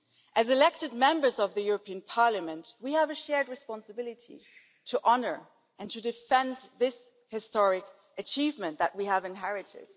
As elected Members of the European Parliament we have a shared responsibility to honour and to defend this historic achievement that we have inherited.